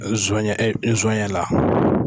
Nsonɲɛ, nsɔnɲɛ la.